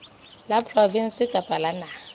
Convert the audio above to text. la provinse kapa la naha